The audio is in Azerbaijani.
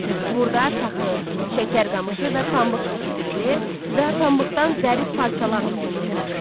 Burda taxıl, şəkər qamışı və pambıq yetişdirilir və pambıqdan zərif parçalar toxunurdu.